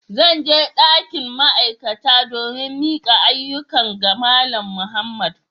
Zan je dakin ma'aikata domin mika ayyukan ga Malam Muhammad.